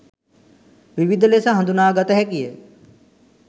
විවිධ ලෙස හදුනා ගත හැකිය.